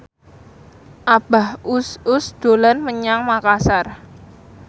Abah Us Us dolan menyang Makasar